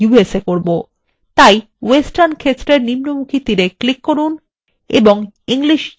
তাই western ক্ষেত্রের নিম্নমুখী তীরএ ক্লিক করুন এবং english usa বিকল্পে click করুন